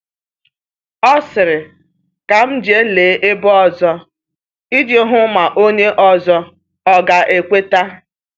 O sịrị, “Ka m jee lee ebe ọzọ,” iji hụ ma onye ọzọ ọga ekweta.